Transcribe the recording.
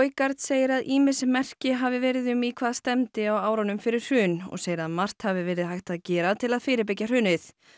segir að ýmis merki hafi verið um í hvað stefndi á árunum fyrir hrun og segir að margt hafi verið hægt að gera til að fyrirbyggja hrunið